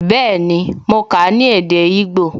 Bẹẹni, mo kà á ní èdè igbó